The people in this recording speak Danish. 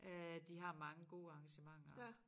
Øh de har mange gode arrangementer